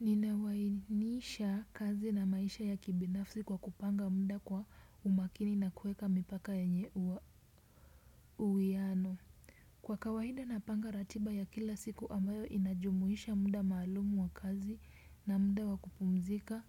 Ninawainisha kazi na maisha ya kibinafsi kwa kupanga mda kwa umakini na kueka mipaka ya uwiano. Kwa kawainda napanga ratiba ya kila siku ambayo inajumuisha mda malumu wa kazi na mda wa kupumzika